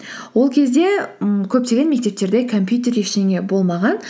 ол кезде ммм көптеген мектептерде компьютер ештеңе болмаған